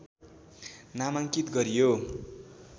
नामाङ्कित गरियो